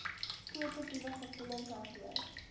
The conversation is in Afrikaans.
positiewe gevoelens hanteer